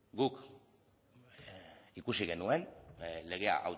guk ikusi genuen legea